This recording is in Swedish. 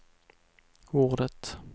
ordet